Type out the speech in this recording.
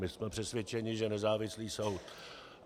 My jsme přesvědčeni, že nezávislý soud.